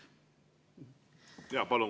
Jaa, palun!